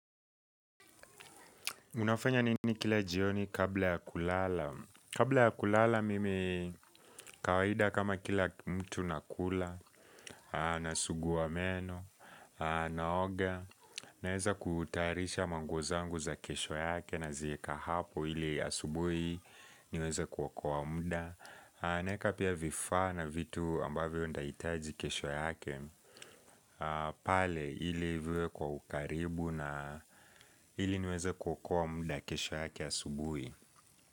Unafanya nini kila jioni kabla ya kulala? Kabla ya kulala mimi kawaida kama kila mtu nakula, nasuguwa meno, naoga, naeza kutayarisha manguo zangu za kesho yake nazieka hapo ili asubui niweze kuoka muda. Naweka pia vifaa na vitu ambavyo nitahitaji kesho yake pale ili viwe kwa ukaribu na ili niweze kuokoa muda kesho yake ya subuhi.